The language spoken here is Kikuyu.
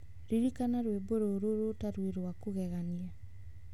Ririkana rwĩmbo rũrũ rũu ta rwĩ rwa kũgegania.